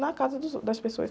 Na casa dos ou, das pessoas.